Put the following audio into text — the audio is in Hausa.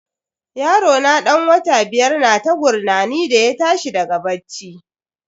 Yarona dan wata biyar na ta gurnani da ya tashi daga bacci.